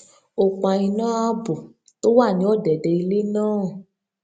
ó pa iná ààbò tó wà ní òdèdè ilé náà